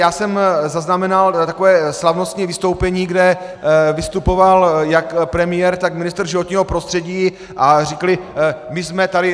Já jsem zaznamenal takové slavnostní vystoupení, kde vystupoval jak premiér, tak ministr životního prostředí a řekli: My jsme tady...